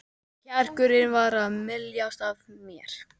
Kjarkurinn var að myljast af mér.